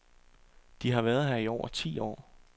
De har været her i over ti år.